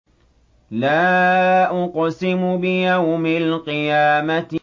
لَا أُقْسِمُ بِيَوْمِ الْقِيَامَةِ